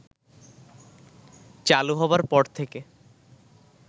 চালু হবার পর থেকে